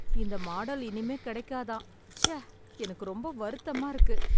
இந்த மாடல் இனிமேல் கிடைக்காதாம். ச்ச. எனக்கு ரொம்ப வருத்தமா இருக்கு.